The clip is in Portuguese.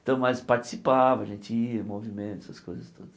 Então, mas participava, a gente ia, movimento, essas coisas todas.